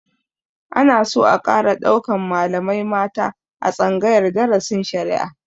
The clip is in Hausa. Ana so a ƙara ɗaukan malamai mata a tsangayar darasin shari'a